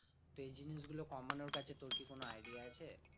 তো এই জিনিসগুলো কমানোর কাছে তোর কি কোন idea আছে?